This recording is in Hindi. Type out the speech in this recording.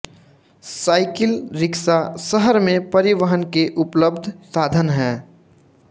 साइकिल रिक्शा शहर में परिवहन के उपलब्ध साधन हैं